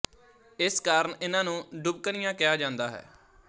ਇਸ ਕਾਰਨ ਇਨ੍ਹਾਂ ਨੂੰ ਡੁਬਕਣੀਆਂ ਕਿਹਾ ਜਾਂਦਾ ਹੈ